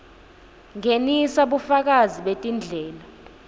ngenisa bufakazi betindlela